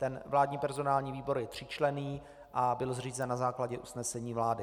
Ten vládní personální výbor je tříčlenný a byl zřízen na základě usnesení vlády.